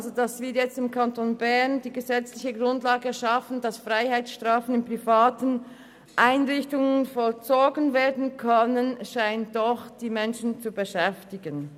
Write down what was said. Dass wir im Kanton Bern die gesetzliche Grundlage schaffen, damit Freiheitsstrafen in privaten Einrichtungen vollzogen werden können, scheint die Bevölkerung zu beschäftigen.